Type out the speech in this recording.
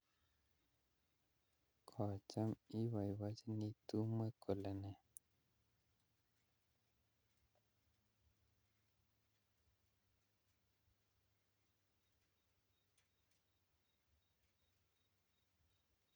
Kocham oboiboinchinii tumwek kolene